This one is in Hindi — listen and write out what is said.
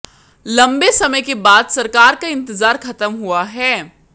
लंबे समय के बाद सरकार का इंतजार खत्म हुआ है